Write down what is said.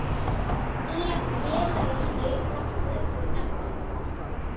Nýja félagið hlaut nafnið Efling.